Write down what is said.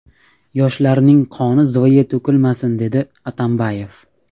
Yoshlarning qoni zoye to‘kilmasin”, dedi Atambayev.